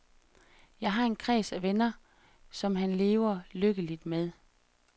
Han har en kreds af venner, som han lever lykkeligt med.